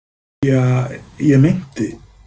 Ja, ég meinti